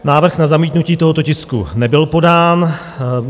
Návrh na zamítnutí tohoto tisku nebyl podán.